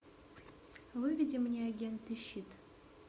выведи мне агенты щит